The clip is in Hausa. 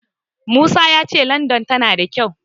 Musa ya ce Landan tana da kyau.